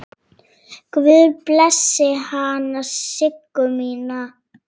Guð blessi hana Siggu mína.